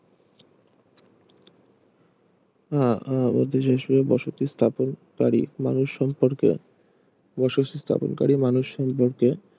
আহ মধ্য এশিয়ায় বসতি স্থাপনকারী মানুষ সম্পর্কেও বসতি স্থপনকারী মানুষ সম্পর্কে